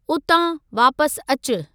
उतां वापसि अचु।